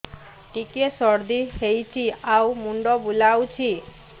ଟିକିଏ ସର୍ଦ୍ଦି ହେଇଚି ଆଉ ମୁଣ୍ଡ ବୁଲାଉଛି